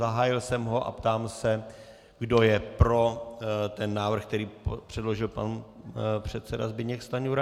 Zahájil jsem ho a ptám se, kdo je pro ten návrh, který předložil pan předseda Zbyněk Stanjura.